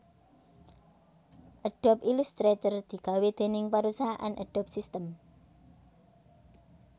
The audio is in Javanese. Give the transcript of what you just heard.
Adobe Illustrator digawé déning parusahan Adobe System